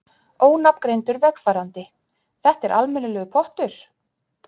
Ónafngreindur vegfarandi: Þetta er almennilegur pottur?